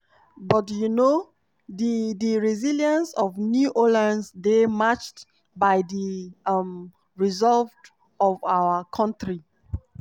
"but um di di resilience of new orleans dey matched by di um resolve of our kontri."